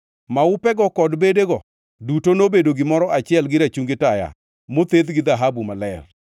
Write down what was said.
Maupego kod bedego duto nobedo gimoro achiel gi rachungi taya mothedh gi dhahabu maler.